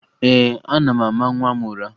Ee, ana m ama nwa m ụra